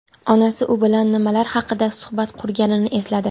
Onasi u bilan nimalar haqida suhbat qurganini esladi.